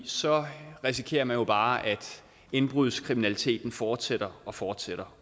så risikerer man jo bare at indbrudskriminaliteten fortsætter og fortsætter